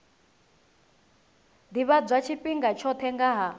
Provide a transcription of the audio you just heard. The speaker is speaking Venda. ḓivhadzwa tshifhinga tshoṱhe nga ha